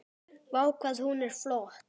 Vá, hvað hún er flott!